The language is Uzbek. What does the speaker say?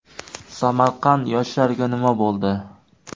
Samarqand yoshlariga nima bo‘ldi?.